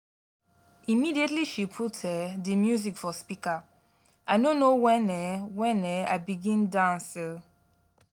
immediately she put um di music for speaker i no know wen um wen um i begin dance. um